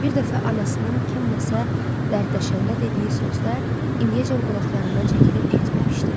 Bir dəfə anasından kimsə dərdləşəndə dediyi sözlər indiyəcən qulaqlarından çəkilib getməmişdi.